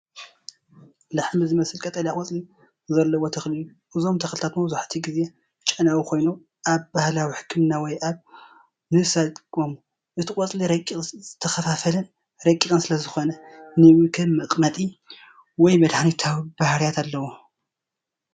ላሕሚ ዝመስል ቀጠልያ ቆጽሊ ዘለዎ ተኽሊ እዩ። እዞም ተኽልታት መብዛሕትኡ ግዜ ጨናዊ ኮይኖም ኣብ ባህላዊ ሕክምና ወይ ኣብ ምብሳል ይጥቀሙ። እቲ ቆጽሊ ረቂቕ ዝተኸፋፈለን ረቂቕን ስለ ዝኾነ ንመግቢ ከም መቐመጢ ወይ መድሃኒታዊ ባህርያት ኣለዎ፡፡